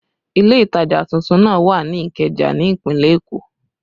Ile ìtajà tuntun náà wà ní Ikeja ní ìpínlẹ̀ Èkó